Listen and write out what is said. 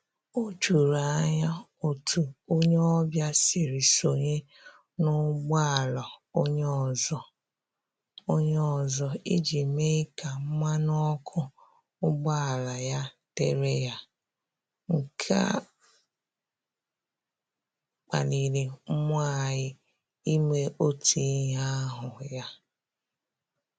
O juru anya otu onye ọbịa siri sonye n'ụgboala onye ọzọ onye ọzọ iji mee ka mmanụ ọkụ ụgbọala ya dịrị ya, nke a kpaliri mmụọ anyị ime otu ihe ahụ ya